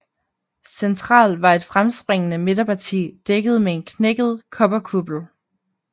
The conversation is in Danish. Central var et fremspringende midterparti dækket med en knækket kobberkuppel